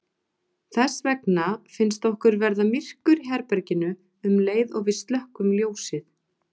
Þess vegna finnst okkur verða myrkur í herberginu um leið og við slökkvum ljósið.